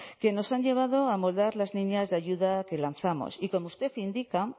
que nos han llevado a amoldar las líneas de ayuda que lanzamos y como usted indica